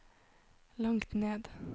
langt ned